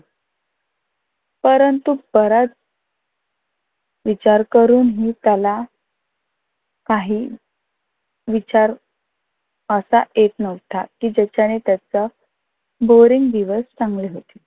परंतु परत विचार करूनही त्याला काही विचार असा येत नव्हता कि जाच्यानी त्याचा बोरिंग दिवस चांगले होतील.